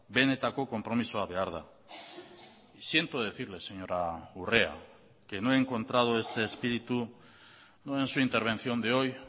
benetako konpromisoa behar da siento decirle señora urrea que no he encontrado este espíritu no en su intervención de hoy